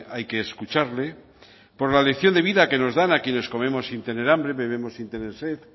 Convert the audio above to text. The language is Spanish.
hay que escucharle por la lección de vida que nos dan a quienes comemos sin tener hambre bebemos sin tener sed